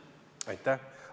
Aitäh!